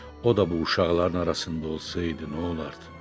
O da bu uşaqların arasında olsaydı nə olardı?